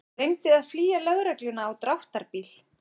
Reyndi að flýja lögregluna á dráttarbíl